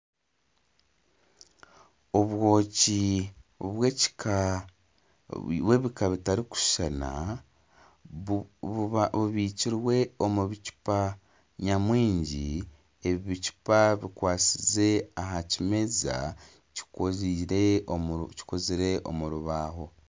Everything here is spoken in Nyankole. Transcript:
Obwoki bw'ebika bitarikushushana bubikirwe omu bicupa nyamwingi ebicupa bikwatsize aha kimeza kikozirwe omu rubaho